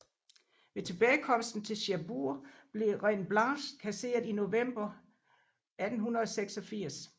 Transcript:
Ved tilbagekomsten til Cherbourg blev blev Reine Blanche kasseret i november 1886